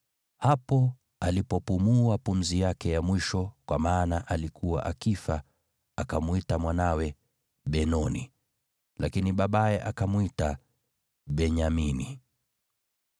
Hapo alipopumua pumzi yake ya mwisho, kwa maana alikuwa akifa, akamwita mwanawe Benoni. Lakini babaye akamwita Benyamini.